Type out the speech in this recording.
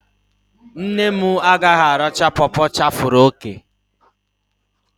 Nne m agaghị aracha pọpọ chafere òkè